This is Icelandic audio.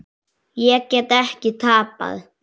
Ég get ekki tapað.